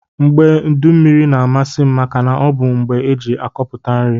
Mgbe udu mmiri na amasim maka na ọbu mgbe eji akọpụta nri.